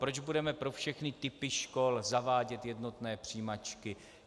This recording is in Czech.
Proč budeme pro všechny typy škol zavádět jednotné přijímačky?